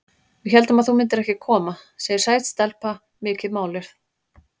Við héldum að þú myndir ekki koma, segir sæt stelpa, mikið máluð.